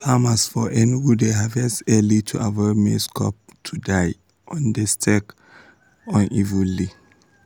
farmers for enugu dey harvest earlyto avoid mazie cobs to die on dai stalks unevenly.